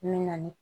Min na ni